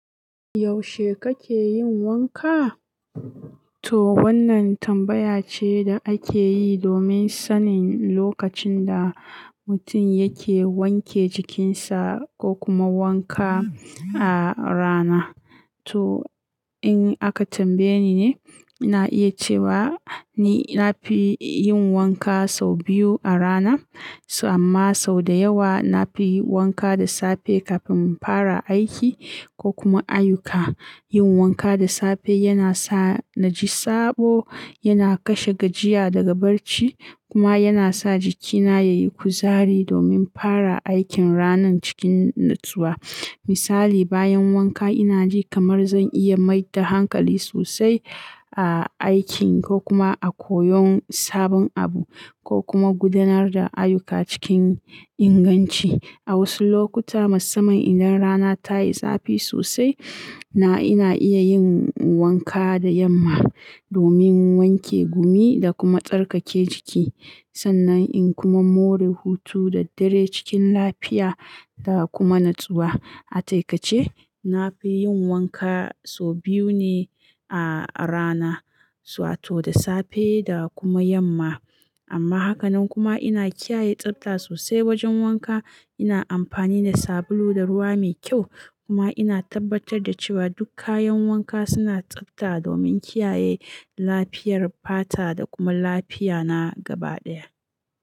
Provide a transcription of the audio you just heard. Yaushe kake yin wanka? To wannan tambaya ce da ake yi domin sanin lokacin da mutum yake wanke jikinsa ko kuma wanka a rana. To in aka tambaye ni ne, na iya cewa ni na fi yin wanka sau biyu a rana. Amma sau da yawa na fi wanka da safe kafin infara aiki ko kuma ayyuka. Yin wanka da safe yana sa na ji sabo, yana kashe gajiya daga barci kuma yana sa jikina ya yi kuzari domin fara aikin ranan cikin natsuwa. Misali, bayan wanka ina ji kamar zan iya mai da hankali sosai a aikin ko kuma a koyon sabon abu ko kuma gudanar da ayyuka cikin inganci. A wasu lokuta, musamman idan rana ta yi zafi sosai, na ina iya yin wanka da yamma domin wanke gumi da kuma tsarkake jiki. Sannan in kuma more hutu da dare cikin lafiya da kuma natsuwa. A taƙaice, na fi yin wanka sau biyu ne a rana, wato da safe da kuma yamma. Amma haka nan kuma ina kiyaye tsafta sosai wajen wanka. Ina amfani da sabulu da ruwa mai kyau kuma ina tabbatar da cewa duk kayan wanka suna tsafta domin kiyaye lafiyar fata da kuma lafiya na gaba ɗaya.